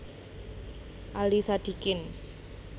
Ali Sadikin